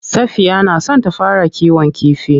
Safiya na son ta fara kiwon kifi.